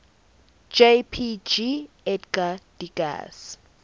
jpg edgar degas